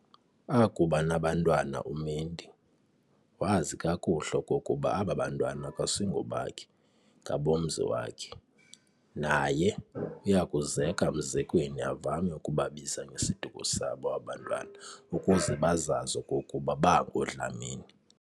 Akuba nabantwana uMendi, wazi kakuhle okokuba aba bantwana akusingobakhe ngabomzi wakhe. Naye uyakuzeka mzekweni avame ukubabiza ngesiduko sabo aba bantwana ukuze bazazi okokuba bangooDlamini.